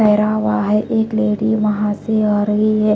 मेरा हुआ है कि एक लेडी वहां से हो रही है।